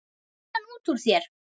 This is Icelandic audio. Fýlan út úr þér!